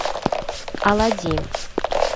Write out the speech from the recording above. аладдин